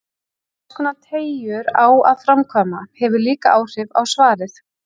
Hverskonar teygjur á að framkvæma, hefur líka áhrif á svarið.